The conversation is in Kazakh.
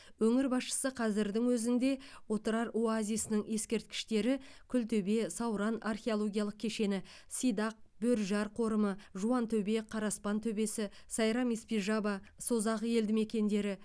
өңір басшысы қазірдің өзінде отырар оазисінің ескерткіштері күлтөбе сауран археологиялық кешені сидақ бөріжар қорымы жуантөбе қараспан төбесі сайрам испижаба созақ елдімекендері